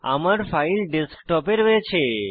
আমার file desktop এ রয়েছে